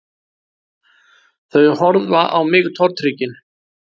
Þau horfa á mig tortryggin